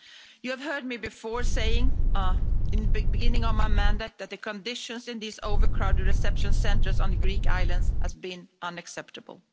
You have heard me before saying in the beginning of my mandate that the conditions in these overcrowded reception centres on the Greek islands has been unacceptable.